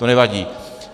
To nevadí.